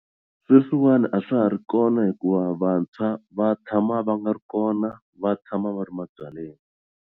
Sweswiwani a swa ha ri kona hikuva vantshwa va tshama va nga ri kona va tshama va ri ma byaleni.